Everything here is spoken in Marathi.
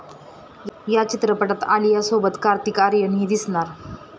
या चित्रपटात आलियासोबत कार्तिक आर्यनही दिसणार.